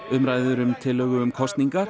umræður um tillögu um kosningar